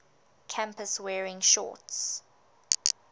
campus wearing shorts